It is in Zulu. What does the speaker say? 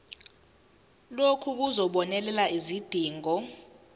lokhu kuzobonelela izidingo